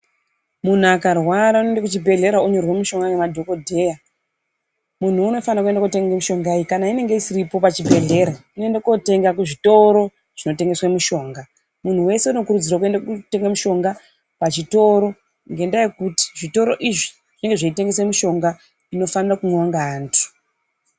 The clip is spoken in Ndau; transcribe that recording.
Muntu akarwara unoenda kuzvibhehlera onyererwa mushonga nanadhokodheya. Muntu unofanirwa kutenga mishonga iyi kana inenge isipo pachibhedhlera, unoenda kotenga kuzvitoro zvinotengesa mishonga. Munhu wese unokuridzirwa kuenda kotenga mushonga ngendaa yekuti zvitoro izvi zvinenge zveitengesa mushonga inofanaira kumwiwa ngeantu.